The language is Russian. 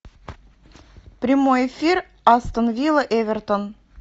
прямой эфир астон вилла эвертон